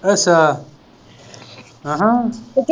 ਅੱਛਾ ਅਹ